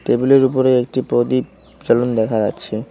টেবিলের -এর উপরে একটি প্রদীপ দেখা যাচ্ছে।